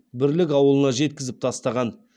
бірлік ауылына жеткізіп тастаған